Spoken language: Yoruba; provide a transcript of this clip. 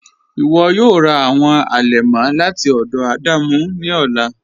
Iwọ yọọ rà awọn alẹmọ lati ọdọ Adamu ni ọlà.